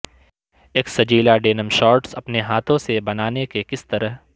ایک سجیلا denim shorts اپنے ہاتھوں سے بنانے کے کس طرح